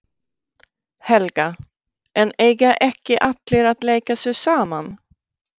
Helga: En eiga ekki allir að leika sér saman?